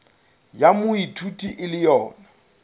ya moithuti e le yona